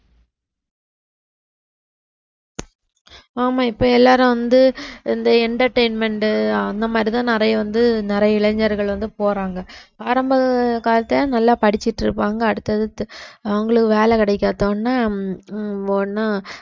ஆமா இப்ப எல்லாரும் வந்து இந்த entertainment அந்த மாதிரிதான் நிறைய வந்து நிறைய இளைஞர்கள் வந்து போறாங்க ஆரம்ப காலத்தை நல்லா படிச்சுட்டு இருப்பாங்க அடுத்தது அவங்களுக்கு வேலை கிடைக்காத உடனே உடனே